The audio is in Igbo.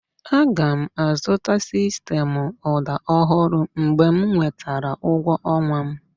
Aga m azụta sistemụ ụda ọhụrụ mgbe m nwetara ụgwọ ọnwa m